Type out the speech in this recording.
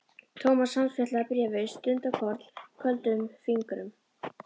Thomas handfjatlaði bréfið stundarkorn, köldum fingrum.